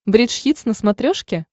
бридж хитс на смотрешке